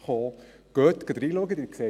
Schauen Sie diese an!